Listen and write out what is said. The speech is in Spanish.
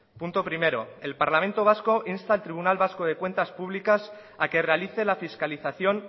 punto primero el parlamento vasco insta al tribunal vasco de cuentas públicas a que realice la fiscalización